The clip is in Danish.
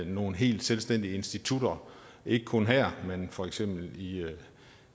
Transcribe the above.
nogle helt selvstændige institutter ikke kun her men for eksempel i